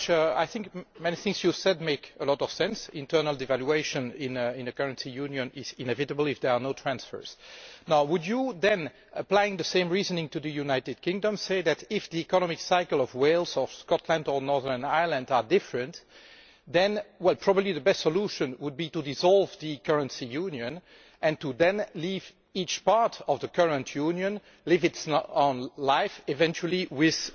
Mr Farage, I think that many things you said make a lot of sense internal devaluation in a currency union is inevitable if there are no transfers. Now would you then, applying the same reasoning to the United Kingdom, say that if the economic cycles of Wales, of Scotland or of Northern Ireland are different, then probably the best solution would be to dissolve the currency union and to then leave each part of the current union to live its own life, possibly with